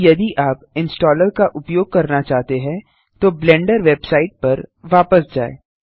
अब यदि आप इंस्टॉलर का उपयोग करना चाहते हैं तो ब्लेंडर वेबसाइट पर वापस जाएँ